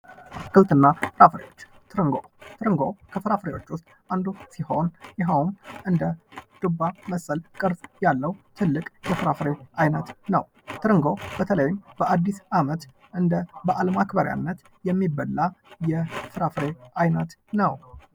አትክልትና ፍራፍሬዎች ትርንጎ፤ ትርንጎ ፍራፍሬዎች ውስጥ አንዱ ሲሆን የሄውም እንደ ዱባ መሰል ቅርስ ያለው ትልቅ የፍራፍሬ አይነት ነው። ትርንጎ በተለይም በአዲስ አመት እንደ በአለም አማክበሪያነት የሚበላ የፍራፍሬ አይነት ነው።